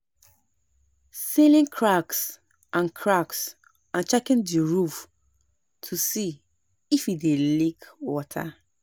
sealing cracks and cracks and checking the roof to see if e dey leak water